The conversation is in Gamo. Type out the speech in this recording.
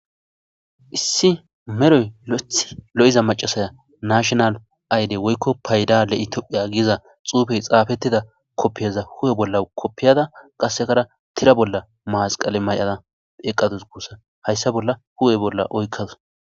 Issi meroy lo7ethi lo7iza macasaya nashonal ayde woykko paydale itophiya giiza xuufey xaafettida koppiyaza hu7e bolla koppiyada qassekara tira bolla maasqale may7ada eqqatus guussa hayssa bolla hu7e bolla oykkaza.